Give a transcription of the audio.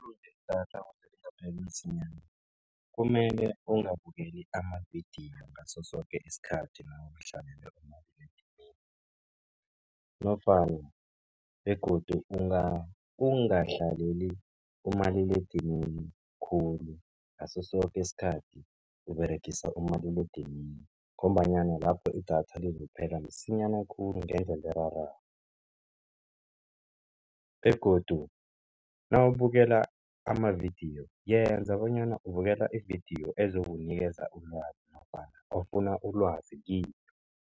Idatha ukuze lingapheli msinyana, kumele ungabukeli amavidiyo ngaso soke isikhathi nawuhlalele umaliledinini nofana, begodu ungahlaleli umaliledinini khulu, ngaso soke isikhathi Uberegisa umaliledinini ngombanyana lakho idatha lizibophelela msinyana khulu ngendlela erarako, begodu nawubukela amavidiyo yenza bonyana ubukela ividiyo ezokunikeza ulwazi nofana ofuna ulwazi kiyo.